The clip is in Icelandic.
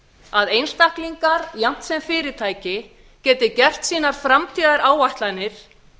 að einstaklingar jafnt sem fyrirtæki geti gert sínar framtíðaráætlanir